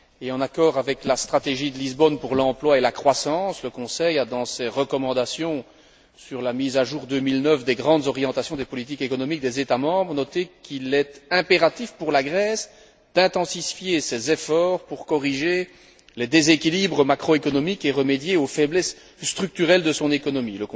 En accord avec la stratégie de Lisbonne pour l'emploi et la croissance, le Conseil a, dans ses recommandations sur la mise à jour 2009 des grandes orientations des politiques économiques des États membres, noté qu'il était impératif pour la Grèce d'intensifier ses efforts tendant à corriger les déséquilibres macroéconomiques et à remédier aux faiblesses structurelles de son économie.